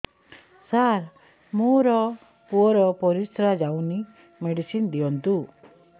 ସାର ମୋର ପୁଅର ପରିସ୍ରା ଯାଉନି ମେଡିସିନ ଦିଅନ୍ତୁ